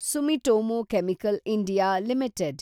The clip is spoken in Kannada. Sumitomo Chemical India limited